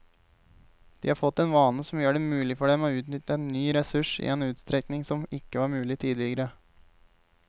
De har fått en vane som gjør det mulig for dem å utnytte en ny ressurs i en utstrekning som ikke var mulig tidligere.